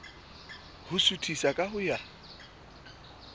ho suthisa ka ho ya